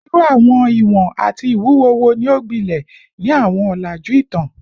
Iru awọn iwọn ati iwuwo wo ni o gbilẹ ni awọn ọlaju itan?